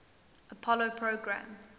apollo program